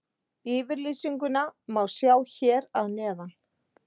Yfirlýsinguna má sjá hér að neðan.